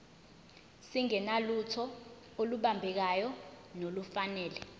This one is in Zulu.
singenalutho olubambekayo nolufanele